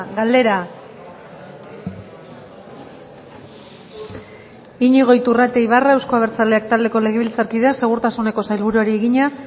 galdera iñigo iturrate ibarra euzko abertzaleak taldeko legebiltzarkideak segurtasuneko sailburuari egina